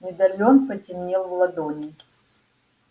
медальон потемнел в ладони